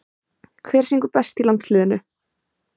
Hver syngur best í landsliðinu?